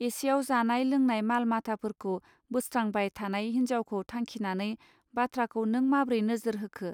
एसेयाव जानाय लोंनाय माल माथाफोरखौ बोस्त्रांबाय थानाय हिनजावखौ थांखिनानै बाथ्राखौ नों माब्रै नोजोर होखो.